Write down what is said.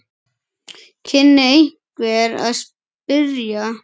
kynni einhver að spyrja.